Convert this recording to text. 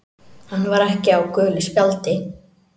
Hann var ekki á gulu spjaldi.